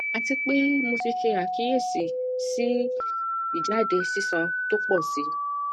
atipe mo ti se akiyesi si ijade sisan to po si